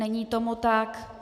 Není tomu tak.